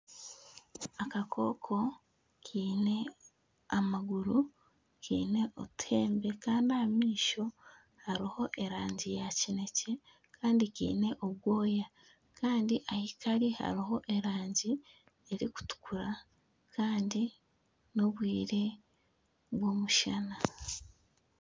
Akakooko kaine amaguru kaine otuheembe kandi aha maisho hariho erangi ya kineekye kandi kaine obwoya kandi ahu kari hariho erangi erikutukura kandi n'obwire bw'omushana